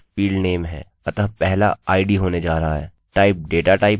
type data type है जिसे आप इस फील्डfield में रखना चाहते हैं